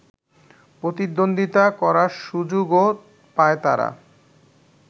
প্রতিদ্বন্দ্বিতা করার সুযোগও পায় তারা